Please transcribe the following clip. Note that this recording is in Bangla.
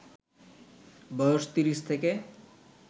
বয়স ৩০ থেকে